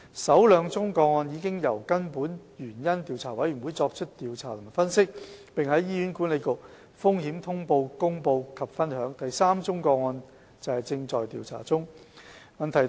首兩宗個案已由根本原因調查委員會作出調查和分析，並在醫管局《風險通報》公布及分享，第三宗個案現正調查中。